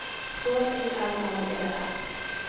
H Y L L E R